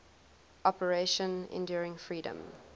operation enduring freedom